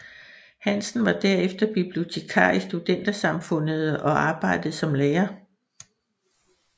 Hansen var derefter bibliotekar i Studentersamfundet og arbejdede som lærer